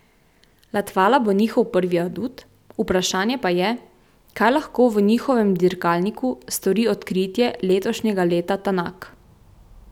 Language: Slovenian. Latvala bo njihov prvi adut, vprašanje pa je, kaj lahko v njihovem dirkalniku stori odkritje letošnjega leta Tanak.